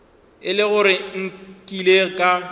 e le gore nkile ka